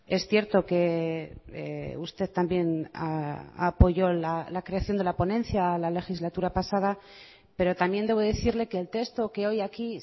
es cierto que usted también apoyó la creación de la ponencia la legislatura pasada pero también debo decirle que el texto que hoy aquí